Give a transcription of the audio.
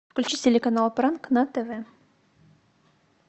включи телеканал пранк на тв